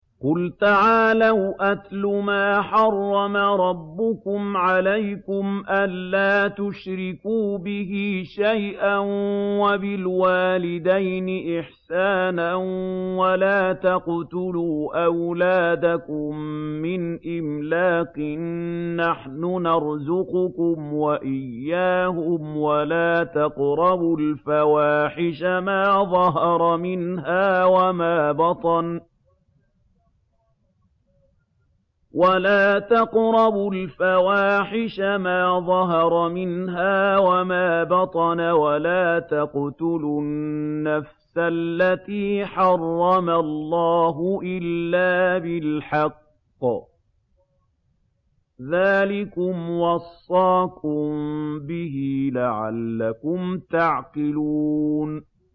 ۞ قُلْ تَعَالَوْا أَتْلُ مَا حَرَّمَ رَبُّكُمْ عَلَيْكُمْ ۖ أَلَّا تُشْرِكُوا بِهِ شَيْئًا ۖ وَبِالْوَالِدَيْنِ إِحْسَانًا ۖ وَلَا تَقْتُلُوا أَوْلَادَكُم مِّنْ إِمْلَاقٍ ۖ نَّحْنُ نَرْزُقُكُمْ وَإِيَّاهُمْ ۖ وَلَا تَقْرَبُوا الْفَوَاحِشَ مَا ظَهَرَ مِنْهَا وَمَا بَطَنَ ۖ وَلَا تَقْتُلُوا النَّفْسَ الَّتِي حَرَّمَ اللَّهُ إِلَّا بِالْحَقِّ ۚ ذَٰلِكُمْ وَصَّاكُم بِهِ لَعَلَّكُمْ تَعْقِلُونَ